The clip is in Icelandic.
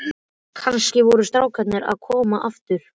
Kannski voru strákarnir að koma aftur.